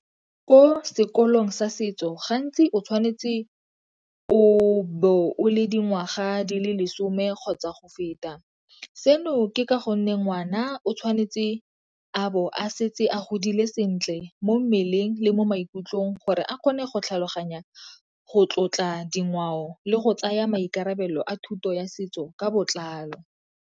Ko sekolong sa setso gantsi o tshwanetse o be o le dingwaga di le lesome kgotsa go feta. Seno ke ka gonne ngwana o tshwanetse a bo a setse a godile sentle mo mmeleng le mo maikutlong gore a kgone go tlhaloganya go tlotla dingwao le go tsaya maikarabelo a thuto ya setso ka botlalo.